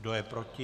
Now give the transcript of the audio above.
Kdo je proti?